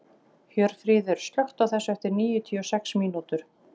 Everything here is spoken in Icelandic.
Hjörfríður, slökktu á þessu eftir níutíu og sex mínútur.